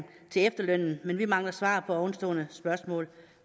efterlønnen men vi mangler svar på ovenstående spørgsmål